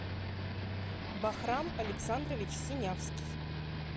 бахрам александрович синявский